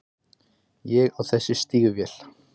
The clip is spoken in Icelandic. Ég á þessi stígvél.